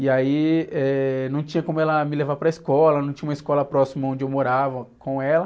E aí, eh, não tinha como ela me levar para a escola, não tinha uma escola próxima onde eu morava com ela.